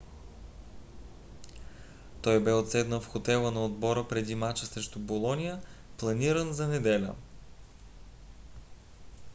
той бе отседнал в хотела на отбора преди мача срещу болоня планиран за неделя